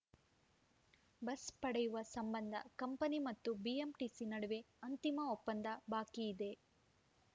bus ಪಡೆಯುವ ಸಂಬಂಧ company ಮತ್ತು ಬಿಎಂಟಿಸಿ ನಡುವೆ ಅಂತಿಮ ಒಪ್ಪಂದ ಬಾಕಿಯಿದೆ